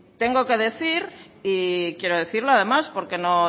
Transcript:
tengo que decir y quiero decirlo además porque no